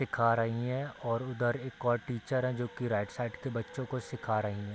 खा रही हैं और उधर एक और टीचर हैं जो की राइट साइड के बच्चो को सीखा रही हैं।